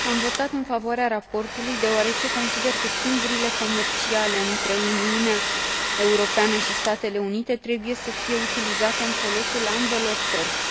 Am votat în favoarea raportului deoarece consider că schimburile comerciale între Uniunea Europeană și Statele Unite trebuie să fie utilizate în folosul ambelor părți.